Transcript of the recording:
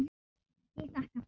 Ég þakka pent.